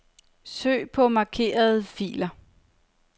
Søg på markerede filer.